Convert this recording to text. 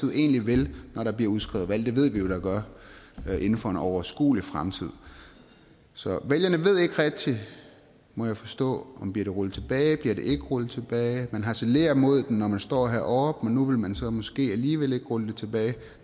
egentlig vil når der bliver udskrevet valg det ved vi jo der gør inden for en overskuelig fremtid så vælgerne ved ikke rigtig må jeg forstå om det bliver rullet tilbage eller ikke rullet tilbage man harcelerer mod det når man står heroppe men nu vil man så måske alligevel ikke rulle det tilbage